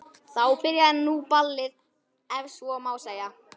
Þá byrjaði nú ballið ef svo má segja.